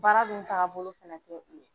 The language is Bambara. Baara dun tagabolo fɛnɛ tɛ o ye.